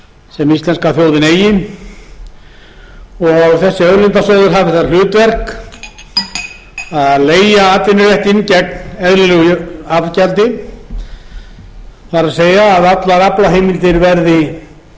sem íslenska þjóðin eigi og þessi auðlindasjóður hafi það hlutverk að leigja atvinnuréttinn gegn eðlilegu afgjaldi það er að allar aflaheimildir verði